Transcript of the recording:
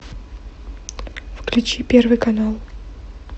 включи первый канал